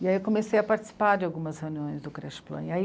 E aí eu comecei a participar de algumas reuniões do Creche Plan, e aí